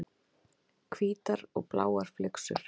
Hvítar og bláar flyksur.